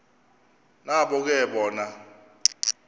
nabo ke bona